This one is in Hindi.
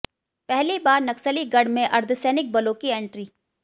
पहली बार नक्सली गढ़ में अर्द्धसैनिक बलों की एंट्री